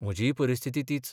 म्हजीय परिस्थिती तीच.